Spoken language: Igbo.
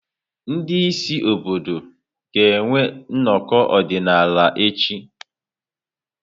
Ndị isi obodo ga-enwe nnọkọ ọdịnala ha echi.